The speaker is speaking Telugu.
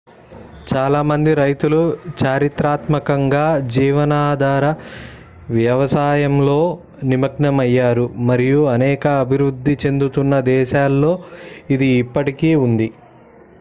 చాలా మంది రైతులు చారిత్రాత్మకంగా జీవనాధార వ్యవసాయంలో నిమగ్నమయ్యారు మరియు అనేక అభివృద్ధి చెందుతున్న దేశాలలో ఇది ఇప్పటికీ ఉంది